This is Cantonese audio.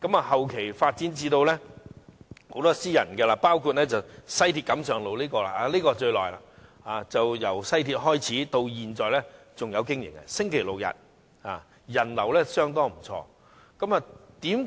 後期發展了越來越多私營墟市，包括位於西鐵錦上路的墟市，這是最歷史悠久的，由西鐵通車營運至今，逢周六日營業，人流相當不錯。